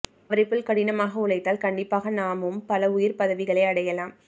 அவரை போல் கடினமாக உழைத்தால் கண்டிப்பாக நாமும் பல உயர் பதவிகளை அடையலாம்